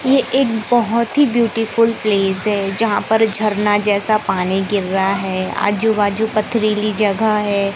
ये एक बहोत ही ब्यूटीफुल प्लेस है जहां पर झरना जैसा पानी गिर रहा है आजू बाजू पथरीली जगह है।